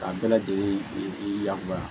K'a bɛɛ lajɛlen i yamaruya